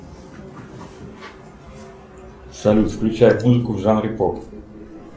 салют включай музыку в жанре поп